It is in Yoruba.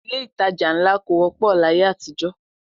Ilé-ìtajà ńlá kò wọ́pọ̀ láyé àtijọ́